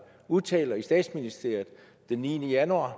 udtalte i statsministeriet den niende januar